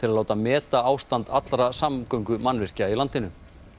að láta meta ástand allra samgöngumannvirkja í landinu